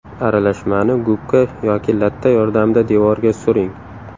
Aralashmani gubka yoki latta yordamida devorga suring.